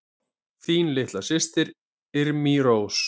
Þín litla systir, Irmý Rós.